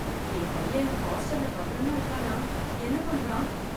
என் பையன் ஹாஸ்டல்ல பத்திரமா இருக்கானா என்ன பண்றான்?